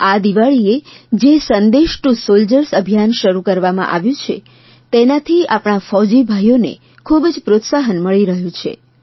આ દિવાળીએ જે સંદેશ ટુ સોલ્જર્સ અભિયાન શરૂ કરવામાં આવ્યું છે તેનાથી આપણા ફૌઝી ભાઇઓને ખૂબ જ પ્રોત્સાહન મળી રહ્યું છે